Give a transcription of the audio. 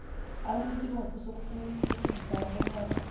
banesibopho sokuqinisekisa bonyana